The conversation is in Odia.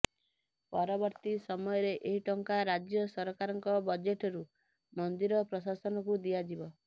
ପରବର୍ତ୍ତି ସମୟରେ ଏହି ଟଙ୍କା ରାଜ୍ୟ ସରକାରଙ୍କ ବଜେଟରୁ ମନ୍ଦିର ପ୍ରଶାସନକୁ ଦିଆଯିବ